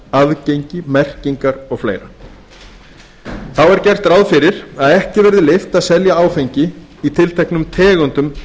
aðgengi merkingar og fleira þá er gert ráð fyrir að ekki verði leyft að selja áfengi í tilteknum tegundum